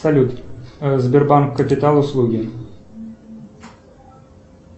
салют сбербанк капитал услуги